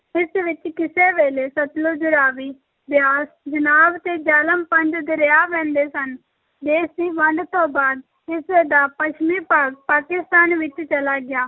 ਇਸ ਵਿੱਚ ਕਿਸੇ ਵੇਲੇ ਸਤਲੁਜ, ਰਾਵੀ, ਬਿਆਸ, ਚਨਾਬ ਤੇ ਜਿਹਲਮ ਪੰਜ ਦਰਿਆ ਵਹਿੰਦੇ ਸਨ, ਦੇਸ ਦੀ ਵੰਡ ਤੋਂ ਬਾਅਦ ਇਸ ਦਾ ਪੱਛਮੀ ਭਾਗ ਪਾਕਿਸਤਾਨ ਵਿੱਚ ਚਲਾ ਗਿਆ,